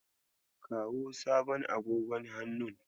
Kawo sabon agogon hannun.